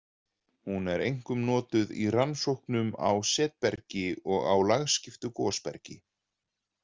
Hún er einkum notuð í rannsóknum á setbergi og á lagskiptu gosbergi.